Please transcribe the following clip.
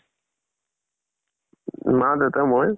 উ মা, দেউতা, মই